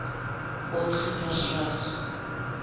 potgietersrus